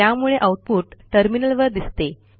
त्यामुळे आऊटपुट टर्मिनलवर दिसते